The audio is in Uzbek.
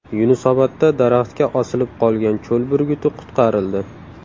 Yunusobodda daraxtga osilib qolgan cho‘l burguti qutqarildi .